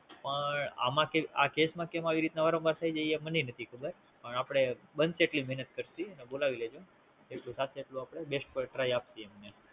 પણ, આ કેસ માં કેમ વારંવાર થાય છે એ મનેય નથી ખબર પણ આપડે બનશે એટલી મેનત કરશું બોલાવી લેજો. જેટલું થશે એટલું અપડે Best પાર Try આપીયે.